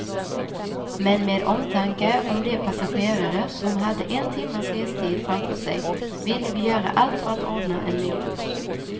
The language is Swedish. Men med omtanke om de passagerare som hade en timmas restid framför sig ville vi göra allt för att ordna en ny buss.